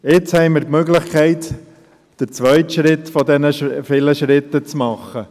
Wir haben jetzt die Möglichkeit, den zweiten Schritt zu tun.